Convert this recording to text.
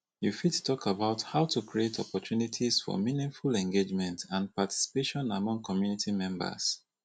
you fit talk about how to create opportunities for meaningful engagement and participation among community members